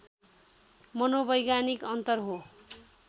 मनोवैज्ञानिक अन्तर हो